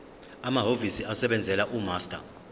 amahhovisi asebenzela umaster